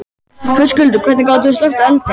Höskuldur: Hvernig gátið þið slökkt eldinn?